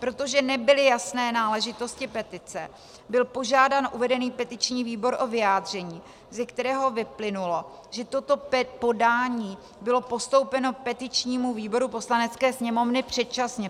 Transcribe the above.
Protože nebyly jasné náležitosti petice, byl požádán uvedený petiční výbor o vyjádření, ze kterého vyplynulo, že toto podání bylo postoupeno petičnímu výboru Poslanecké sněmovny předčasně.